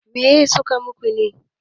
me suka yi muku ne?